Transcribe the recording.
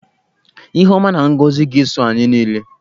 Ihe ọma na ngọzị ga-eso anyị niile.